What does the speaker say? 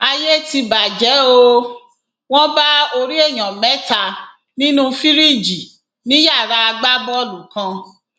ayé ti bàjẹ ó wọn bá orí èèyàn mẹta nínú fìríìjì ní yàrá agbábọọlù kan